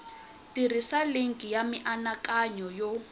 tirhisa linki ya mianakanyo yo